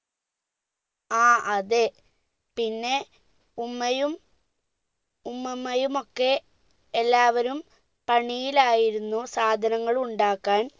ആ അതെ പിന്നെ ഉമ്മയും ഉമ്മുമ്മയും ഒക്കെ എല്ലാവരും പണിയിലായിരുന്നു സാധനങ്ങൾ ഉണ്ടാക്കാൻ